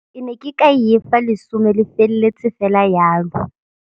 Ke ne ke ka efa lesome le felletse fela jalo.